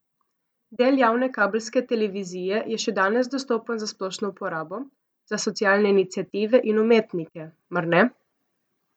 Del javne kabelske televizije je še danes dostopen za splošno uporabo, za socialne iniciative in umetnike, mar ne?